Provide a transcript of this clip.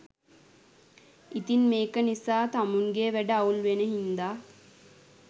ඉතිං මේක නිසා තමුන්ගෙ වැඩ අවුල් වෙන හින්දා